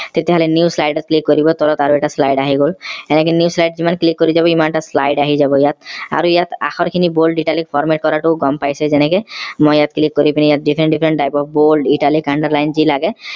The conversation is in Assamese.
তেতিয়া হলে new slide ত click কৰিব তলত আৰু এটা slide আহি গল এনেকে new slide যিমান click কৰি যাব সিমান টা slide আহি যাব ইয়াত আৰু ইয়াত আখৰখিনি bold italic format কৰাটো গম পাইছেই যেনেকে মই ইয়াত click কৰি পিনে ইয়াত different different type ৰ bold italic underline যি লাগে